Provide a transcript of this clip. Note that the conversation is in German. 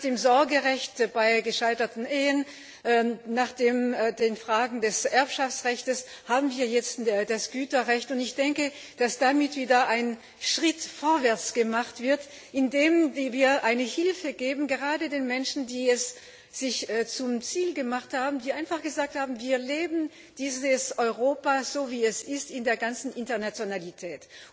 Nach dem Sorgerecht bei gescheiterten Ehen, nach den Fragen des Erbschaftsrechtes haben wir jetzt das Güterrecht, und ich denke, dass damit wieder ein Schritt vorwärts gemacht wird, indem wir eine Hilfe geben, gerade den Menschen, die es sich zum Ziel gemacht haben, die einfach gesagt haben Wir leben dieses Europa, so wie es ist, in der ganzen Internationalität.